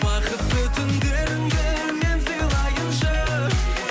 бақытты түндеріңді мен сыйлайыншы